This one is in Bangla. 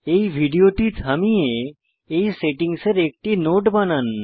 এই ভিডিওটি থামিয়ে এই সেটিংসের একটি নোট বানান